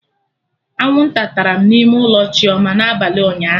Anwụnta tara m n'ime ụlọ Chioma na abalị ụnyaahụ